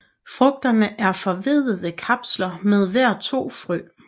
Frugterne er forveddede kapsler med hver to frø